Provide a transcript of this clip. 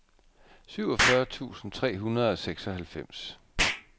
syvogfyrre tusind tre hundrede og seksoghalvfems